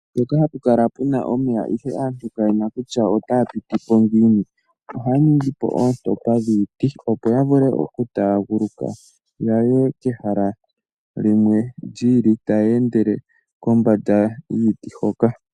Mpoka hapukala omeya ogendji geendapo ndee aantu kayeshi kutya otaapitipo ngiini aantu ohaaningipo oontompa dhiiti opo ya vulu okutanguluka yaye ke hala lyimwe lyiili, tayeendele kombanda yiiti hoka.